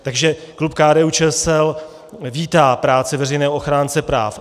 Takže klub KDU-ČSL vítá práci veřejného ochránce práv.